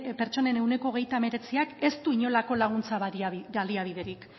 pertsonen ehuneko hogeita hemeretziak ez du inolako laguntza baliabiderik